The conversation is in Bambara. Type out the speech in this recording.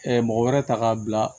mɔgɔ wɛrɛ ta k'a bila